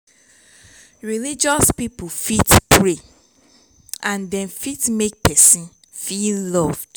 religious pipo fit pray and dem fit make person feel loved